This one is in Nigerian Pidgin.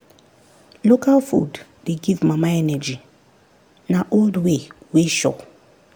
local food dey give mama energy na old way wey sure.